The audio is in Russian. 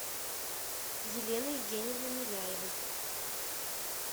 елены евгеньевны миляевой